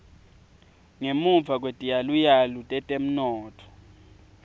ngemuva kwetiyaluyalu tetemnotfo